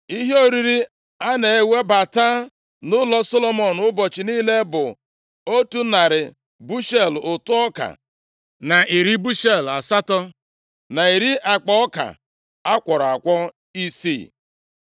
Ihe oriri a na-ewebata nʼụlọ Solomọn ụbọchị niile bụ otu narị bushel ụtụ ọka na iri bushel asatọ, na iri akpa ọka a kwọrọ akwọ isii,